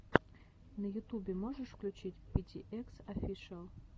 на ютубе можешь включить пи ти экс офишиал